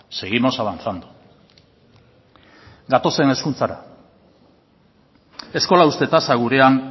seguimos avanzando gatozen hezkuntzara eskola uzte tasa gurean